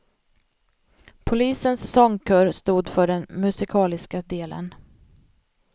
Polisens sångkör stod för den musikaliska delen.